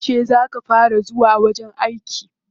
Yauce za ka fara zuwa wajen aiki?